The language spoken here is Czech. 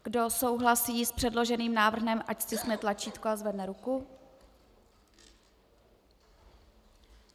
Kdo souhlasí s předloženým návrhem, ať stiskne tlačítko a zvedne ruku.